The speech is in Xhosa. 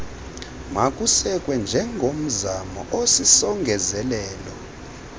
makusekwe njengomzamo osisongezelelo